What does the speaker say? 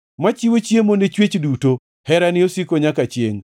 machiwo chiemo ne chwech duto, Herane osiko nyaka chiengʼ.